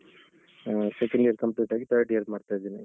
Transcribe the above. ಹ್ಮ್ second year complete ಆಗಿ third year ಮಾಡ್ತಾ ಇದ್ದೇನೆ.